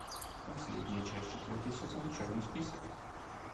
последняя часть четвертый сезон черный список